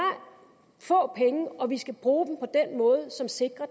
få penge og vi skal bruge dem på den måde som sikrer